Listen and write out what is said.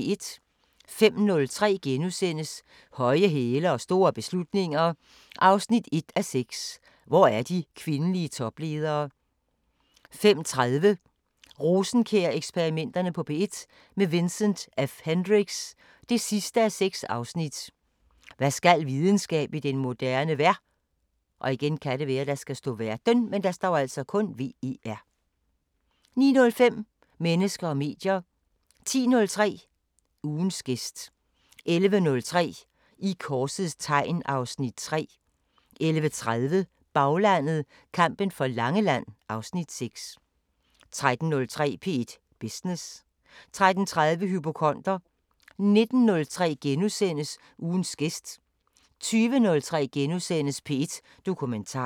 05:03: Høje hæle og store beslutninger 1:6 – Hvor er de kvindelige topledere? * 05:30: Rosenkjær-eksperimenterne på P1 – med Vincent F Hendricks: 6:6 Hvad skal videnskab i den moderne ver * 09:05: Mennesker og medier 10:03: Ugens gæst 11:03: I korsets tegn (Afs. 3) 11:30: Baglandet: Kampen for Langeland (Afs. 6) 13:03: P1 Business 13:30: Hypokonder 19:03: Ugens gæst * 20:03: P1 Dokumentar *